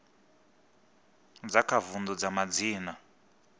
dza kha vundu dza madzina